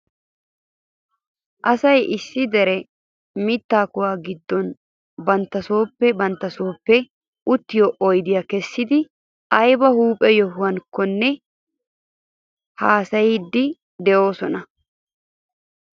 Asay issi diran mittaa kuwa giddon bata sooppe bantta sooppe uttiyoo oydiyaa kessidi ayba huuphe yohuwankkonne he asati haasayiidi de'oosona